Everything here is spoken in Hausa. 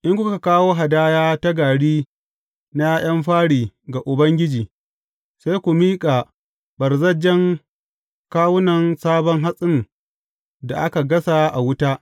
In kuka kawo hadaya ta gari na ’ya’yan fari ga Ubangiji, sai ku miƙa ɓarzajjen kawunan sabon hatsin da aka gasa a wuta.